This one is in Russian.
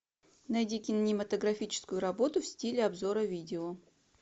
найди кинематографическую работу в стиле обзора видео